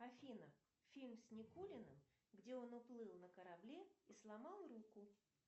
афина фильм с никулиным где он уплыл на корабле и сломал руку